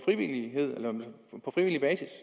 frivillig basis